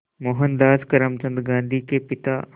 मोहनदास करमचंद गांधी के पिता